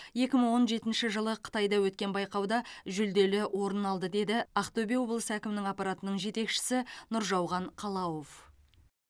екі мың он жетінші жылы қытайда өткен байқауда жүлделі орын алды деді ақтөбе облысы әкімінің аппаратының жетекшісі нұржауған қалауов